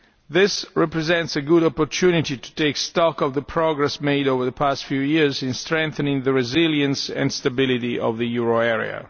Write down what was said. This represents a good opportunity to take stock of the progress made over the past few years in strengthening the resilience and stability of the euro area.